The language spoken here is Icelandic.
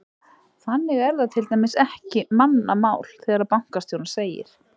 Þannig er það til dæmis ekki mannamál þegar bankastjóri segir: